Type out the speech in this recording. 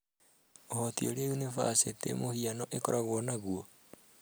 ũhoti uria yunibacĩtĩ mũhiano ĩkoragwo naguo?